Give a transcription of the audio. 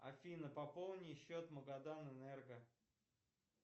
афина пополни счет магаданэнерго